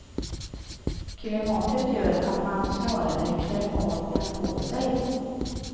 Klimatet gör att man snarare klär av än på sig.